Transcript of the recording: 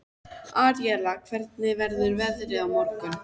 Aríela, hvernig verður veðrið á morgun?